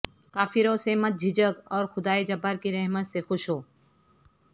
کافروں سے مت جھجھک اور خدائے جبار کی رحمت سے خوش ہو